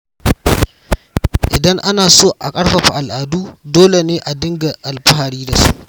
Idan ana son a ƙarfafa al’adu, dole ne a nuna alfahari da su.